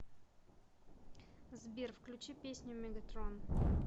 сбер включи песню мегатрон